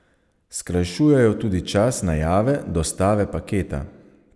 Skrajšujejo tudi čas najave dostave paketa.